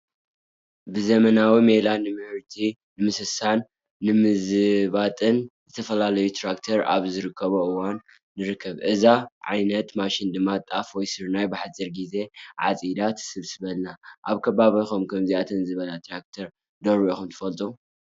ብዘበናዊ ሜላ ምህርቲ ንምስብሳብን ንምዝባጥን ዝተፈላለዩ ትራክተራት ኣብ ዝርከባሉ እዋን ንርከብ፡፡ እዛ ዓይነት ማሽን ድማ ጣፍ ወይ ስርናይ ብሓፂር ጊዜ ዓፂዳ ትስብስበልና፡፡ ኣብ ከባቢኹም ከምዚኣተን ዝበላ ትራክተራት ዶ ሪኢኹም ትፈልጡ?